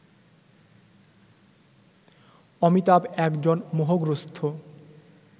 অমিতাভ একজন মোহগ্রস্থ